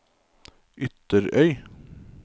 Ytterøy